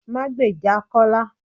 Má gbejà Kọ́lá